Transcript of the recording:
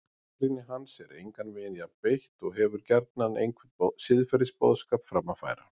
Gagnrýni hans er engan veginn jafn beitt og hefur gjarnan einhvern siðferðisboðskap fram að færa.